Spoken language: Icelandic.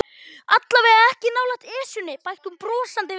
Allavega ekki nálægt Esjunni bætti hún brosandi við.